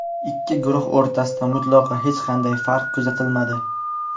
Ikki guruh o‘rtasida mutlaqo hech qanday farq kuzatilmadi.